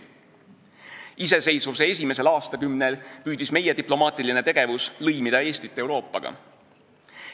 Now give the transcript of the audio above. Iseseisvuse esimesel aastakümnel püüdis meie diplomaatiline tegevus lõimida Eestit Euroopaga.